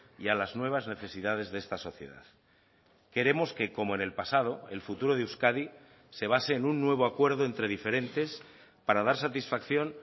y a las nuevas necesidades de esta sociedad queremos que como en el pasado el futuro de euskadi se base en un nuevo acuerdo entre diferentes para dar satisfacción